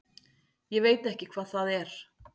Ég veit ekki hvað það er.